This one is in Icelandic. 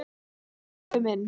Takk pabbi minn.